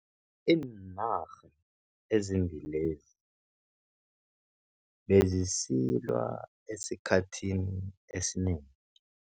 Iinarha ezimbili lezi bezisilwa esikhathini esinengi.